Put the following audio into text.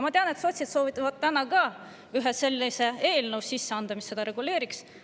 Ma tean, et sotsid soovivad täna ka ühe sellise eelnõu sisse anda, mis seda reguleeriks.